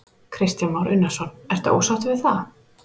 Kristján Már Unnarsson: Ertu ósáttur við það?